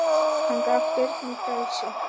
Hann gaf Birni frelsi.